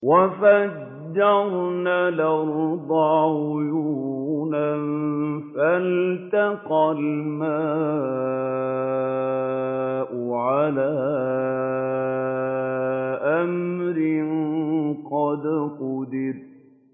وَفَجَّرْنَا الْأَرْضَ عُيُونًا فَالْتَقَى الْمَاءُ عَلَىٰ أَمْرٍ قَدْ قُدِرَ